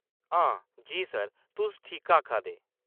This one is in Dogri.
हां जी सर, तुस ठीकआखा दे।